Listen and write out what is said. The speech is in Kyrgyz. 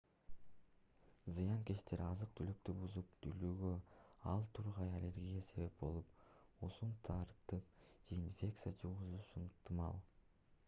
зыянкечтер азык-түлүктү бузуп дүүлүгүүгө ал тургай аллергияга себеп болуп уусун таратып же инфекция жугузушу ыктымал